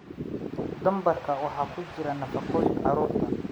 Dambarka waxaa ku jira nafaqooyinka carruurta.